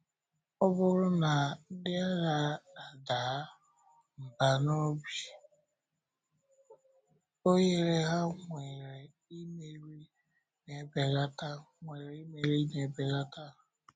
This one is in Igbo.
Ọ bụrụ na ndị agha adàà mbà n’obi, ohere ha nwere imeri na-ebelata. nwere imeri na-ebelata.